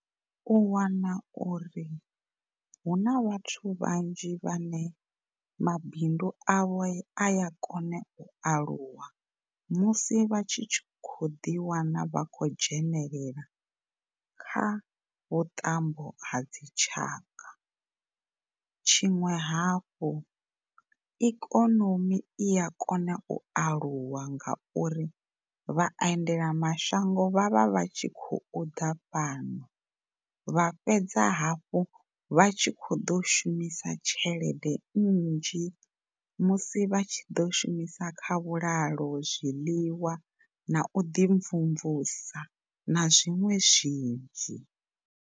U wana uri hune vhathu vhanzhi vhane mabindu awe aya kona u aluwa musi vhatshi khou ḓi wana vha khou dzhenelela kha vhuṱambo ha dzi tshaka tshiṅwe hafhu ikonomi i a kona u aluwa ngauri vha endela mashango vhavha tshi khou ḓa fhano vha fhedza hafhu vha tshi khou ḓou shumisa tshelede nnzhi musi vhatshi ḓo shumisa kha vhulalo, zwiḽiwa na u ḓi mvumvusa na zwiṅwe zwinzhi.